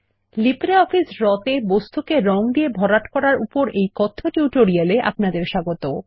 LibreOffice Draw এ বস্তুকে রঙ দিয়ে ভরাট করার উপর এই কথ্য টিউটোরিয়ালে আপনাদের স্বাগত